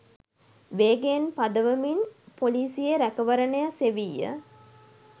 වේගයෙන් පදවමින් පොලිසියේ රැකවරණය සෙවීය.